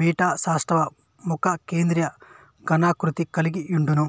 beta సౌష్టవం ముఖ కేంద్రీయ ఘనాకృతి కలిగి యుండును